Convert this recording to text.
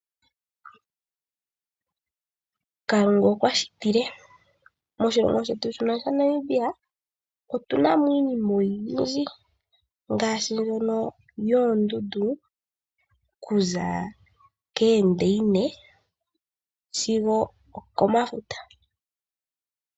Kalunga okwa shitile. Moshilongo shetu shono shaNamibia otuna mo iinima oyindji ngaashi nduno yoondundu okuza keendeyine sigo oko mafuta.